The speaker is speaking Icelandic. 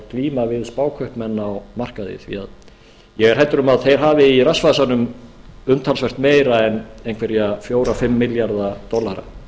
glíma við spákaupmenn á markaði því ég er hræddur um að þeir hafi í rassvasanum umtalsvert meira heldur en einhverja fjóra til fimm milljarða dollara